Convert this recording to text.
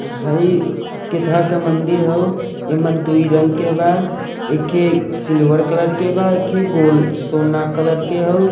है केथा के मंदिर हाउ ऐइ में दू रंग के बा एखे सिल्वर कलर के बा एखे गोल्ड सोना कलर के हाउ।